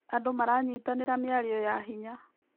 Andũ maranyitanĩra mĩario ya hinya.